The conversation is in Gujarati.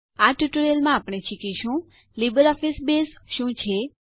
આ ટ્યુટોરીયલમાં આપણે શીખીશું લીબરઓફીસ બેઝ શું છે